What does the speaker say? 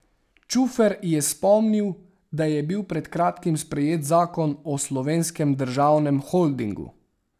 Čufer je spomnil, da je bil pred kratkim sprejet zakon o Slovenskem državnem holdingu.